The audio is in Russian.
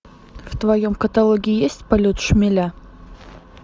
в твоем каталоге есть полет шмеля